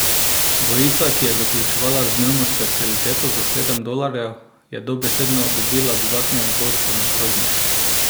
Dvojica, ki je zaključevala z dnevno specialiteto za sedem dolarjev, je dobesedno dobila dodatnega gosta na krožnik.